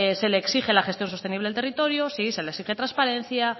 se le exige la gestión sostenible del territorio sí se le exige transparencia